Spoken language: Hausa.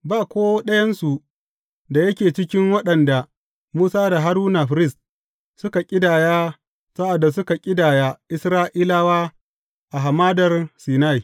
Ba ko ɗayansu da yake cikin waɗanda Musa da Haruna firist, suka ƙidaya sa’ad da suka ƙidaya Isra’ilawa a Hamadar Sinai.